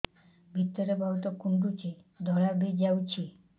ଭିତରେ ବହୁତ କୁଣ୍ଡୁଚି ଧଳା ବି ଯାଉଛି